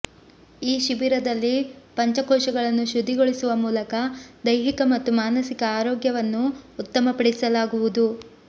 ಈ ಶಿಬಿರದಲ್ಲಿ ಪಂಚಕೋಶಗಳನ್ನು ಶುದ್ಧಿಗೊಳಿಸುವ ಮೂಲಕ ದೈಹಿಕ ಮತ್ತು ಮಾನಸಿಕ ಆರೋಗ್ಯವನ್ನು ಉತ್ತಮಪಡಿಸಲಾಗುವುದು